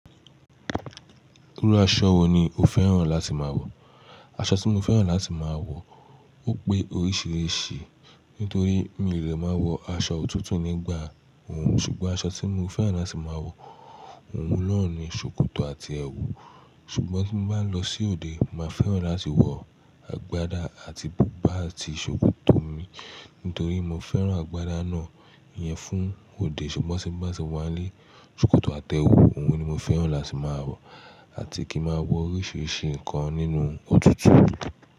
Irú aṣọ wo ni o fẹ́ràn láti máa wọ̀? Aṣọ tí mo fẹ́ràn láti máa wọ̀ ó pé oríṣìíríṣìí nítorí mi lè máa wọ aṣọ òtútù nígbà wo, ṣùgbọ́n aṣọ tí mo fẹ́ràn láti máa wọ̀ ohun lọ́ọ̀ni ṣòkòtò àti ẹwù. Ṣùgbọ́n tí mo bá lọ sí òde, màá fẹ́ràn láti wọ àgbádá àti bùbá àti ṣòkòtò mi nítorí mo fẹ́ràn àgbádá náà iyẹn fún òde. Ṣùgbọ́n tí mo bá ti wá nílé, ṣòkòtò àtẹ ẹwù òun ni mo fẹ́ràn láti máa wọ̀ àti kí ma wọ oríṣìíríṣìí nǹkan nínú òtútù.